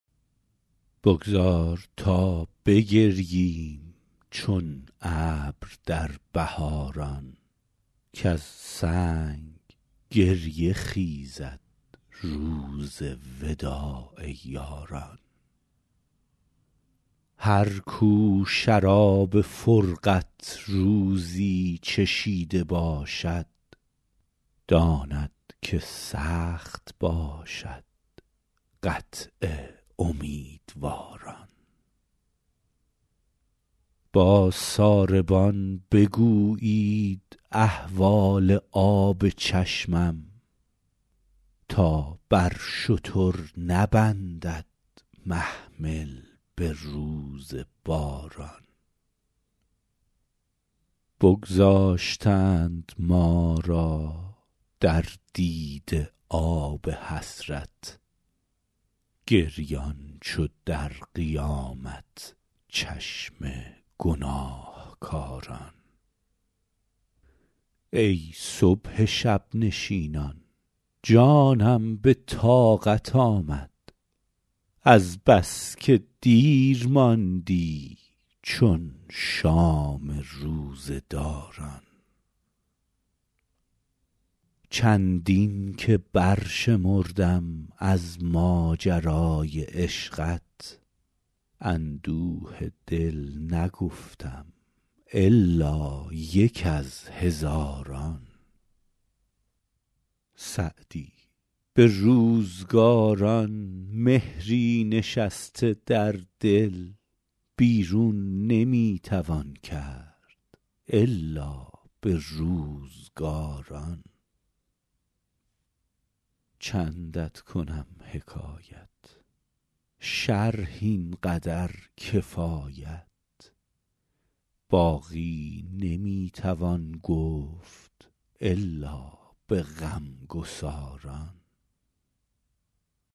بگذار تا بگرییم چون ابر در بهاران کز سنگ گریه خیزد روز وداع یاران هر کو شراب فرقت روزی چشیده باشد داند که سخت باشد قطع امیدواران با ساربان بگویید احوال آب چشمم تا بر شتر نبندد محمل به روز باران بگذاشتند ما را در دیده آب حسرت گریان چو در قیامت چشم گناهکاران ای صبح شب نشینان جانم به طاقت آمد از بس که دیر ماندی چون شام روزه داران چندین که برشمردم از ماجرای عشقت اندوه دل نگفتم الا یک از هزاران سعدی به روزگاران مهری نشسته در دل بیرون نمی توان کرد الا به روزگاران چندت کنم حکایت شرح این قدر کفایت باقی نمی توان گفت الا به غمگساران